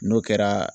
N'o kɛra